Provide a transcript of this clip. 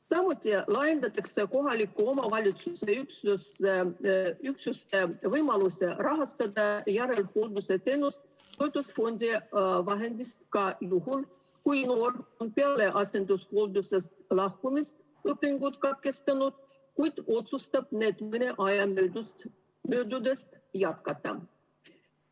Samuti laiendatakse kohaliku omavalitsuse üksuste võimalust rahastada järelhooldusteenust toetusfondi vahenditest ka juhul, kui noor on peale asendushooldusest lahkumist õpingud katkestanud, kuid otsustab neid mõne aja möödudes jätkata.